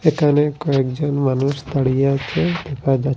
এখানে কয়েকজন মানুষ দাঁড়িয়ে আছে দেখা যা--